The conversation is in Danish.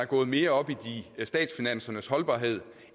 gået mere op i statsfinansernes holdbarhed